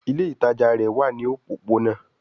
Ile itaja rẹ wa ní òpópónà